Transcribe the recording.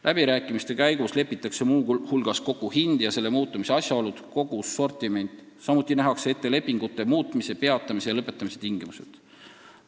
Läbirääkimiste käigus lepitakse muu hulgas kokku hind ja selle muutumise asjaolud, kogus, sortiment, samuti nähakse ette lepingute muutmise, peatamise ja lõpetamise tingimused.